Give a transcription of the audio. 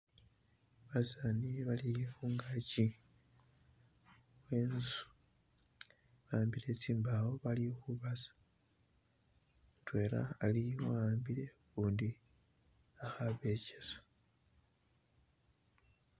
Basani bali khungagi khwenzu bahambile zimbawo bali khubasa mudwela ali wahambile gundi ahaba echisa.